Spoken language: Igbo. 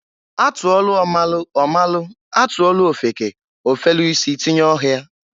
A tụọlụ ọ malụ ọ malụ, a tụọlụ ofeke, ofelu isi tinye ọhịa.